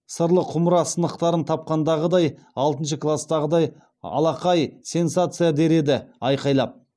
сырлы құмыра сынықтарын тапқандағыдай алтыншы кластағыдай алақай сенсация а а а дер еді айқайлап